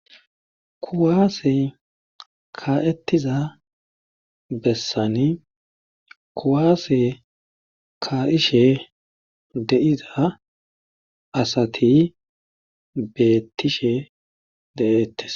kuwaase kaettiza bessani kuwaase ka'ishe deiza asati beettishe de'ettes